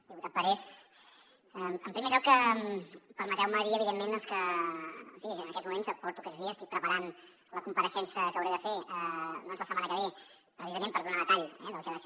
diputat parés en primer lloc permeteu me dir evidentment en fi que en aquests moments aquests dies estic preparant la compareixença que hauré de fer la setmana que ve precisament per donar detall del que ha de ser